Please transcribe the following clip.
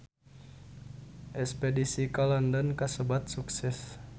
Espedisi ka London kasebat sukses